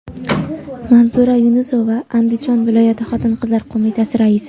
Manzura Yunusova Andijon viloyati Xotin-qizlar qo‘mitasi raisi.